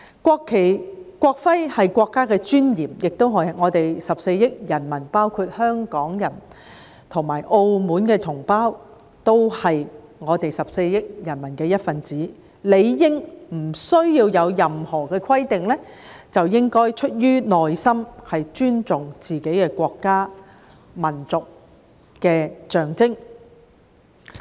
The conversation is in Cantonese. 國旗和國徽是國家的尊嚴，亦是我們14億人民，包括香港人和澳門同胞，我們都是14億人民的一分子，理應不需要有任何的規定，應出自內心尊重自己的國家和民族的象徵。